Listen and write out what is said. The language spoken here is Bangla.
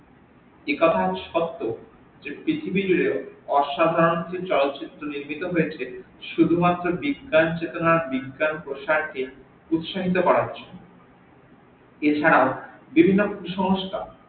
একথাও সত্য যে পৃথিবী মিলে অসাধারন চলচিত্র লিখিত হয়েছে শুধুমাত্র বিজ্ঞান চেতনা ও বিজ্ঞান প্রসার কে উৎসাহিত করার জন্য এছারাও বিভিন্ন কুসংস্কার